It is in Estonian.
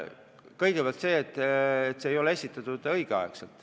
Kõigepealt fakt, et nimekirja ei esitatud õigel ajal.